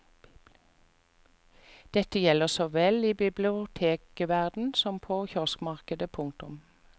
Dette gjelder såvel i bibliotekverdenen som på kioskmarkedet. punktum